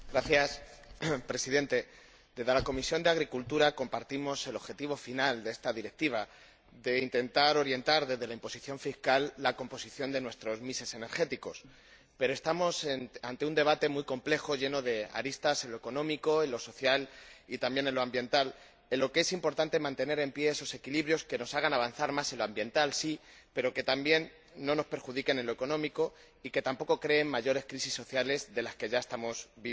Señor Presidente, desde la Comisión de Agricultura compartimos el objetivo final de esta Directiva de intentar orientar, desde la imposición fiscal, la composición de nuestros mix energéticos pero, estamos ante un debate muy complejo lleno de aristas en lo económico, en lo social y también en lo ambiental, en un contexto en que es importante mantener en pie esos equilibrios que nos hagan avanzar más en lo ambiental, sí, pero que también no nos perjudiquen en lo económico y que tampoco creen mayores crisis sociales de las que ya estamos viviendo.